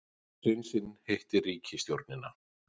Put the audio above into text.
Prinsinn hittir ríkisstjórnina